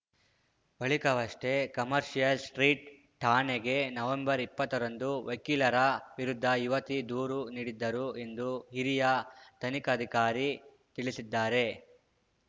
ಬಳಿಕವಷ್ಟೇ commercial street ಠಾಣೆಗೆ ನವೆಂಬರ್ಇಪ್ಪತ್ತರಂದು ವಕೀಲರ ವಿರುದ್ಧ ಯುವತಿ ದೂರು ನೀಡಿದ್ದರು ಎಂದು ಹಿರಿಯ ತನಿಖಾಧಿಕಾರಿ ತಿಳಿಸಿದ್ದಾರೆ